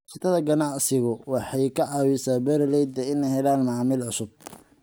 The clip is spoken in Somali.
Iskaashatada ganacsigu waxay ka caawisaa beeralayda inay helaan macaamiil cusub.